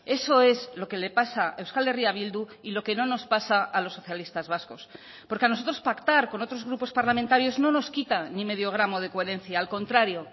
eso es lo que le pasa a euskal herria bildu y lo que no nos pasa a los socialistas vascos porque a nosotros pactar con otros grupos parlamentarios no nos quita ni medio gramo de coherencia al contrario